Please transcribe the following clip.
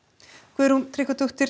Guðrún Tryggvadóttir